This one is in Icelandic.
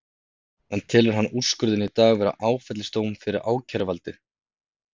En telur hann úrskurðinn í dag vera áfellisdóm fyrir ákæruvaldið?